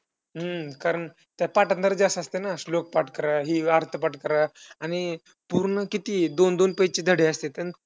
हम्म कारण त्याला पाठांतरचं जास्त असतंय ना. श्लोक पाठ करा, हे अर्थ पाठ करा. आणि पूर्ण किती दोन दोन page चे धडे असत्यात.